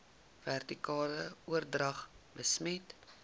vertikale oordrag besmet